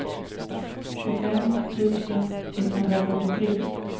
tjugofem tusen etthundrafyrtiotre